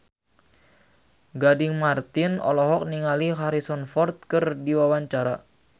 Gading Marten olohok ningali Harrison Ford keur diwawancara